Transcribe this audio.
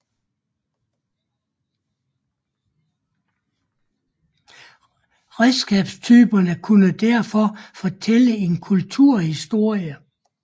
Redskabstyperne kunne derfor fortælle en kulturhistorie